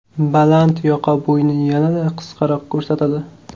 Baland yoqa bo‘yni yanada qisqaroq ko‘rsatadi.